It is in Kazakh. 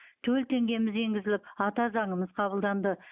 төл теңгеміз енгізіліп ата заңымыз қабылданды